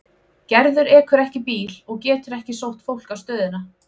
Gerður ekur ekki bíl og getur ekki sótt fólk á stöðina.